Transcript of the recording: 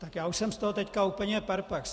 Tak já už jsem z toho teď úplně perplex.